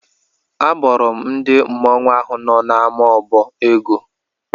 Abọrọ m ndị mmọnwụ ahụ nọ n'ama obo ego.